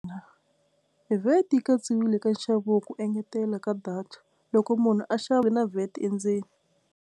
VAT yi katsiwile ka nxavo wa ku engetela ka data loko munhu a xava na VAT endzeni.